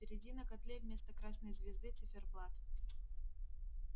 впереди на котле вместо красной звезды циферблат